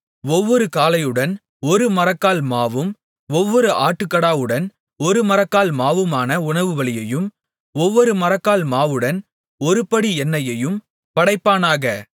ஒவ்வொரு காளையுடன் ஒரு மரக்கால் மாவும் ஒவ்வொரு ஆட்டுக்கடாவுடன் ஒரு மரக்கால் மாவுமான உணவுபலியையும் ஒவ்வொரு மரக்கால் மாவுடன் ஒருபடி எண்ணெயையும் படைப்பானாக